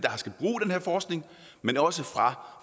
her forskning men også fra